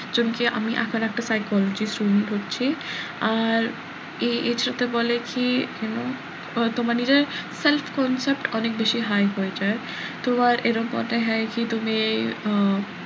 যেমন কি আমি এখন একটা psychology student হচ্ছি আর এএর সাথে বলে কি আহ তোমার নিজের self concept অনেক বেশি high হয়ে যায় তো আর এরম কথা হয় যে তুমি আহ